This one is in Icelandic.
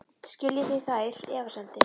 Skiljið þið þær efasemdir?